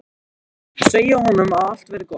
Segja honum að allt verði gott.